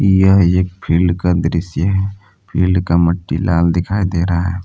यह एक फील्ड का दृश्य है फील्ड का मट्टी लाल दिखाई दे रहा है।